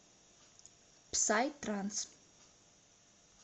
псай транс